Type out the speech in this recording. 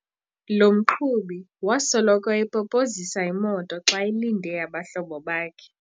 Lo mqhubi wasoloko epopozisa imoto xa elinde abahlobo bakhe.